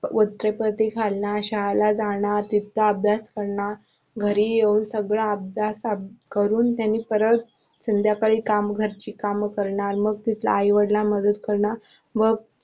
वृत्तपत्रे फाडणार, शाळाला जाणार, तिथला अभ्यास करणार, घरी येवून सगळा करून परत संध्याकाळी घरची काम करणार, मग आई वडिलांना मदत करणार व